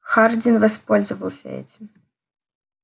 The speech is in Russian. хардин воспользовался этим